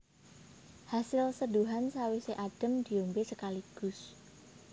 Hasil seduhan sawisé adhem diombé sekaligus